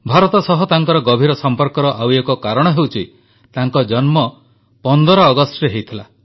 ଭାରତ ସହ ତାଙ୍କର ଗଭୀର ସମ୍ପର୍କର ଆଉ ଏକ କାରଣ ହେଉଛି ତାଙ୍କ ଜନ୍ମ 15 ଅଗଷ୍ଟରେ ହୋଇଥିଲା